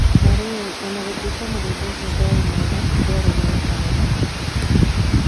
Na rĩrĩ, o na gũtuĩka mũgũnda ũcio ndwarĩ mwega, ndwarĩ na magetha maingĩ.